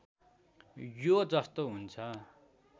यो जस्तो हुन्छ